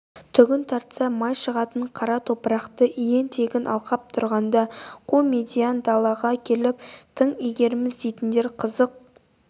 түгін тартса май шығатын қара топырақты иен-тегін алқап тұрғанда қу медиен далаға келіп тың игереміз дейтіндер қызық